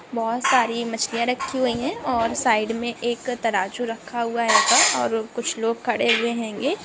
बहोत सारी मछलीया रखी हुई है और सईद मे एक तराजू रखा हुआ है यहा पर और कुछ लोग खड़े हुए हेंगे।